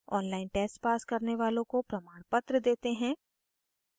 online test pass करने वालों को प्रमाणपत्र देते हैं